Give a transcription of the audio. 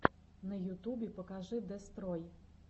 на ютубе покажи дестрой